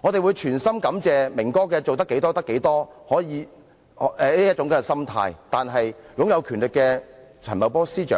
我們衷心感謝"明哥"盡力而為的心態，但對於擁有權力的陳茂波司長呢？